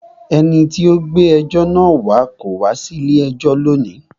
Ẹni tí o gbé ẹjọ́ náà wá kò wá sí ilé ẹjọ́ ní òní.